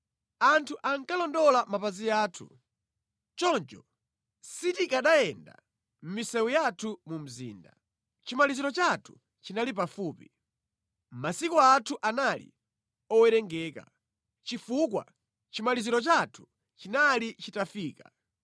Anthu ankalondola mapazi athu, choncho sitikanayenda mʼmisewu yathu mu mzinda. Chimaliziro chathu chinali pafupi, masiku athu anali owerengeka, chifukwa chimaliziro chathu chinali chitafika.